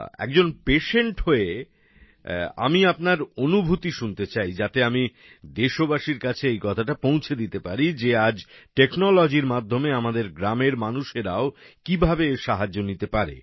একজন পেশেন্ট হয়ে আমি আপনার অনুভূতি শুনতে চাই যাতে আমি দেশবাসীর কাছে এই কথাটা পৌঁছে দিতে পারি যে আজ টেকনোলজির মাধ্যমে আমাদের গ্রামের মানুষেরাও কিভাবে এর সাহায্য নিতে পারেন